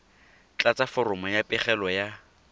tlatsa foromo ya pegelo ya